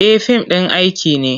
E, fim ɗin aiki ne.